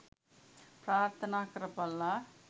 ප්‍රාර්ථනා කරපල්ලා.